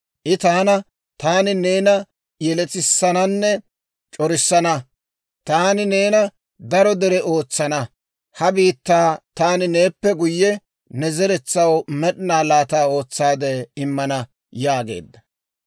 I taana, ‹Taani neena yelettissananne c'orissana; taani neena daro dere ootsana. Ha biittaa taani neeppe guyye, ne zeretsaw med'ina laata ootsaadde immana› yaageedda.